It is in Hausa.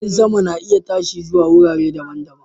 Jirgin sama na iya tashi zuwa wurare daban-daban